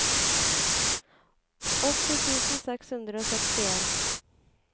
åtti tusen seks hundre og sekstien